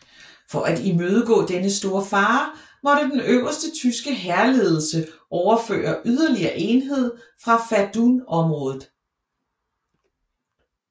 For at imødegå denne store fare måtte den øverste tyske hærledelse overføre yderligere enheder fra Verdunområdet